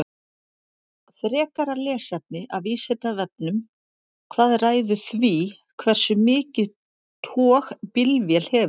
Frekara lesefni af Vísindavefnum: Hvað ræður því hversu mikið tog bílvél hefur?